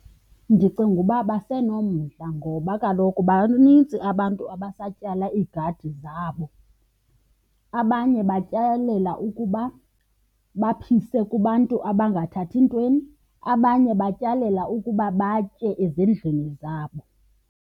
Ndicinga uba basenomdla ngoba kaloku banintsi abantu abasatyala iigadi zabo. Abanye batyalela ukuba baphise kubantu abangathathi ntweni, abanye batyelela ukuba batye ezindlwini zabo.